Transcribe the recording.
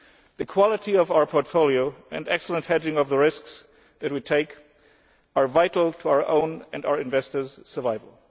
The quality of our portfolio and excellent hedging of the risks it is to take are vital to our own and to our investors' survival.